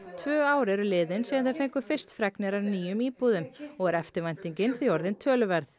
tvö ár eru liðin síðan þeir fengu fyrst fregnir af nýjum íbúðum og er eftirvæntingin því orðin töluverð